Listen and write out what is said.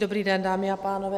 Dobrý den, dámy a pánové.